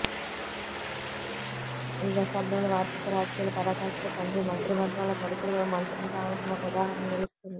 ఈ దశాబ్దంలో వారసత్వ రాజకీయాల పరాకాష్టకు తండ్రి మంత్రి వర్గంలో కొడుకులు మంత్రులు కావటం ఒక ఉదాహరణగా నిలుస్తుంది